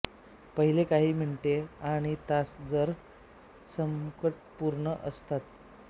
पहिले काही मिनिटे आणि तास जरा संकटपूर्ण असतात